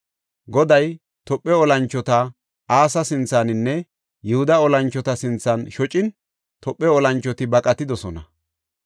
Goday Tophe olanchota Asa sinthaninne Yihuda olanchota sinthan shocin Tophe olanchoti baqatidosona.